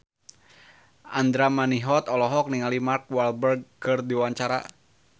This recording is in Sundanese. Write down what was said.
Andra Manihot olohok ningali Mark Walberg keur diwawancara